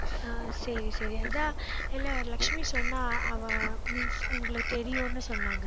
ஆஹ் சரி, சரி அதான் இல்லை லட்சுமி சொன்னா அவ means உங்களுக்கு தெரியுன்னு சொன்னாங்க